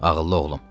Ağıllı oğlum.